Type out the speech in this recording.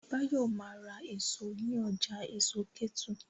Báyọ̀ ma ra èso ní ọjà èso Kétu